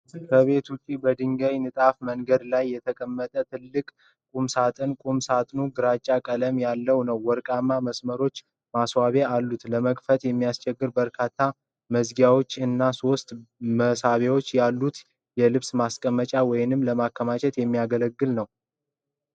ከቤት ውጭ በድንጋይ ንጣፍ መንገድ ላይ የተቀመጠ ትልቅ ቁም ሳጥን ቁም ሳጥኑ ግራጫ ቀለም ያለው ነው። ወርቃማ መስመሮች ማስዋቢያ አለው። ለመክፈቻ የሚሆኑ በርካታ መዝጊያዎች እና ሶስት መሳቢያዎች ያሉት የልብስ ለማስቀመጫ ወይም ለማከማቻ የሚያገለግል ነዉ።